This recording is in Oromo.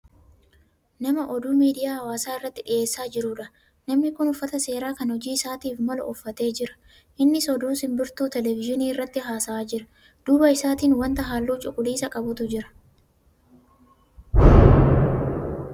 Nama oduu miidiyaa hawaasaa irratti dhiyeessaa jirudha. Namni kun uffata seeraa kan hojii isaatiif malu uffatee jira. Innis oduu simbirtuu teelevizyiinii irratti haasa'aa jira. Duuba isaatin wanta halluu cuquliisaa qabutu jira